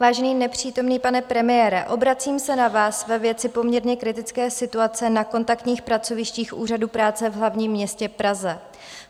Vážený nepřítomný pane premiére, obracím se na vás ve věci poměrně kritické situace na kontaktních pracovištích úřadů práce v hlavním městě Praze.